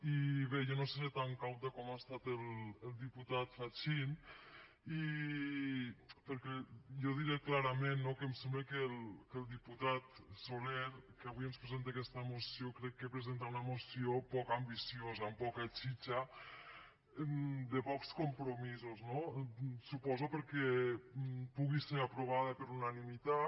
i bé jo no seré tan cauta com ha estat el diputat fachin perquè jo diré clarament no que em sembla que el diputat soler que avui ens presenta aquesta moció crec que presenta una moció poc ambiciosa amb poca txitxa de pocs compromisos suposo perquè pugui ser aprovada per unanimitat